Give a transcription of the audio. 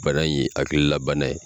Bana in ye hakili la bana ye.